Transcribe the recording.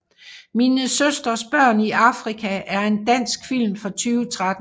Min søsters børn i Afrika er en dansk film fra 2013